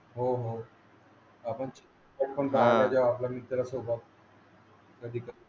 आहेत. आपण म्हणजे आपल्या मित्रा सोबत.